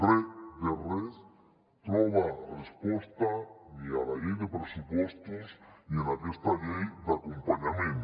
re de res troba resposta ni a la llei de pressupostos ni en aquesta llei d’acompanyament